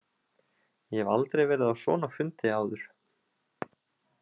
Ég hef aldrei verið á svona fundi áður.